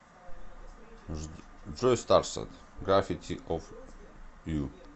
джой старсет гравити оф ю